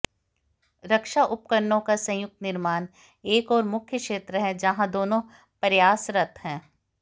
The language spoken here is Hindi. रक्षा उपकरणों का संयुक्त निर्माण एक और मुख्य क्षेत्र है जहां दोनों देश प्रयासरत हैं